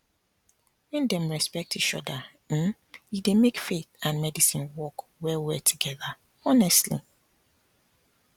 when dem respect each other um e dey make faith and medicine work well well together honestly